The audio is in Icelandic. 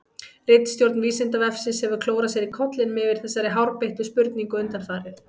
Ritstjórn Vísindavefsins hefur klórað sér í kollinum yfir þessari hárbeittu spurningu undanfarið.